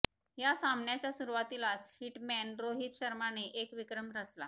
या सामन्याच्या सुरुवातीलाच हिटमॅन रोहित शर्माने एक विक्रम रचला